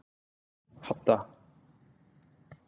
Hadda